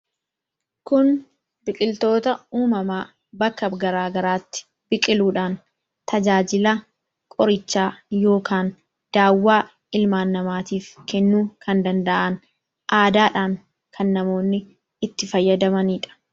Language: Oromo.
Kun biqiltoota uumamaa bakka garaa garaatti biqiluudhaan tajaajila qorichaa yookaan daawwaa ilmaan namaatiif kennuu kan danda'an. Aadaadhaan kan namoonni itti fayyadamanidha.